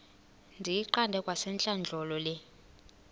ndiyiqande kwasentlandlolo le